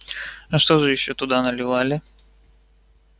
а что же ещё туда наливали